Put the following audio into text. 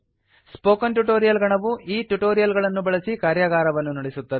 spoken tutorial ಗಣವು ಈ tutorial ಗಳನ್ನು ಬಳಸಿ ಕಾರ್ಯಾಗಾರವನ್ನು ನಡೆಸುತ್ತದೆ